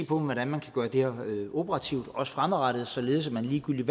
på hvordan man kan gøre det her operativt også fremadrettet således at man ligegyldigt